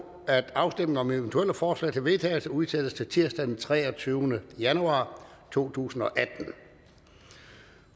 at afstemning om eventuelle forslag til vedtagelse udsættes til tirsdag den treogtyvende januar to tusind